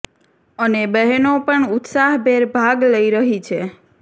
અને બહેનો પણ ઉત્સાહ ભેર ભાગ લઇ રહી છે